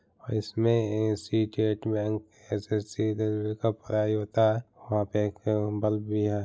इसमे bank SSC railway का पढ़ाई होता है वहाँ पे एक एवं बल्ब भी है।